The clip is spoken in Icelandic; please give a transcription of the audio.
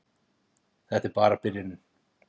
Þetta er bara byrjunin!